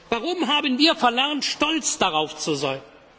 Warum haben wir verlernt, stolz darauf